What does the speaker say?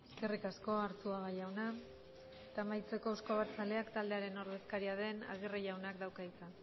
eskerrik asko arzuaga jauna eta amaitzeko euzko abertzaleak taldearen ordezkaria den agirre jaunak dauka hitza